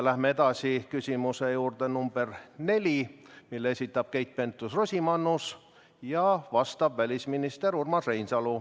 Läheme edasi küsimuse juurde number 4, mille esitab Keit Pentus-Rosimannus ja vastab välisminister Urmas Reinsalu.